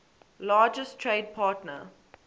largest trade partner